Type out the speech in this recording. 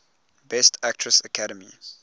best actress academy